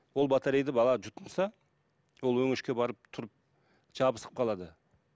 ол батарейді бала жұтынса ол өңешке барып тұрып жабысып қалады